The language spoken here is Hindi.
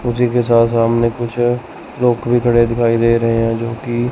उसीके सा सामने कुछ लोग भी खड़े दिखाई दे रहे हैं जोकि--